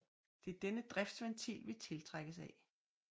Det er denne driftsventil vi tiltrækkes af